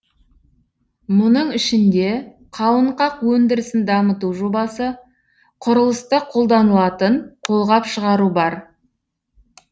мұның ішінде қауынқақ өндірісін дамыту жобасы құрылыста қолданылатын қолғап шығару бар